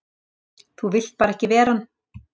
Þú vilt bara ekki vera hann!